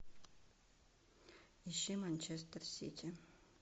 ищи манчестер сити